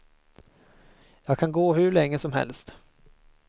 Jag kan gå hur länge som helst.